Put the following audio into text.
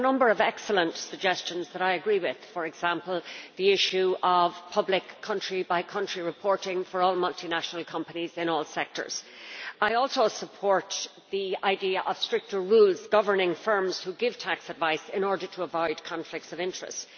It has a number of excellent suggestions that I agree with, for example, the issue of public country-by-country reporting for all multinational companies in all sectors. I also support the idea of stricter rules governing firms which give tax advice in order to avoid conflicts of interest.